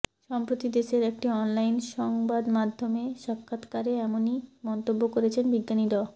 সম্প্রতি দেশের একটি অনলাইন সংবাদমাধ্যমে সাক্ষাৎকারে এমনই মন্তব্য করেছেন বিজ্ঞানী ড